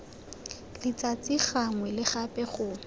letsatsi gangwe le gape go